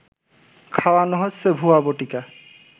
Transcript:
খাওয়ানো হচ্ছে ভুয়া বটিকা